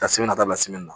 Ka sɛbɛn na dabila na